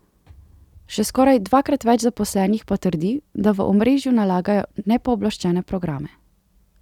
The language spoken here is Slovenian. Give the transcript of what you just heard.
Še skoraj dvakrat več zaposlenih pa trdi, da v omrežju nalagajo nepooblaščene programe.